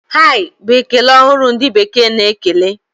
Hai! Bụ ekele ọhụrụ ndị bekee na-ekele.